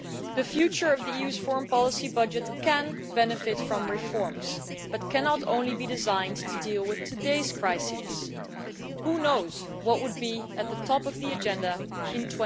The future of the EU's foreign policy budget can benefit from reforms, but cannot only be designed to deal with today's crises. Who knows what could be at the top of the agenda in